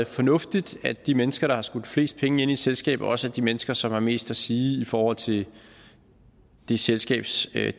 fornuftigt at de mennesker der har skudt flest penge ind i et selskab også er de mennesker som har mest at sige i forhold til det selskabs